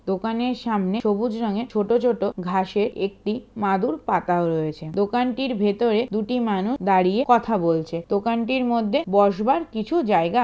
দোকানের সামনে সবুজ রঙের ছোট ছোট ঘাসের একটি মাদুর পাতা রয়েছে। দোকানটির ভেতরে দুটি মানুষ দাঁড়িয়ে কথা বলছে। দোকানটির মধ্যে বসবার কিছু জায়গা আ--